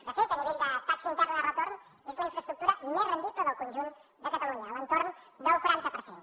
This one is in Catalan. de fet a nivell de taxa interna de retorn és la infraestructura més rendible del conjunt de catalunya a l’entorn del quaranta per cent